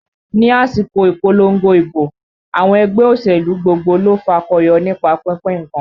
Ni àsìkò ìpolongo ìbò, àwọn ẹgbẹ́ òṣèlú gbogbo ló fakọyọ nípa pínpín nǹkan